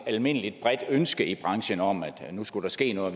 almindeligt bredt ønske i branchen om at der nu skulle ske noget